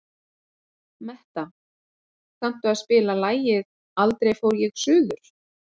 Metta, kanntu að spila lagið „Aldrei fór ég suður“?